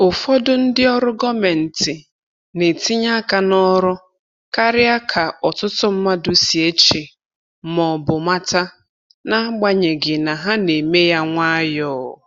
Ụfọdụ ndị ọrụ gọọmentị na-etinye aka n’ọrụ karịa ka ọtụtụ mmadụ si eche ma ọ bụ mata, n’agbanyeghị na ha na-eme ya nwayọ.